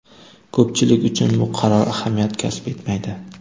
Ko‘pchilik uchun bu qaror ahamiyat kasb etmaydi.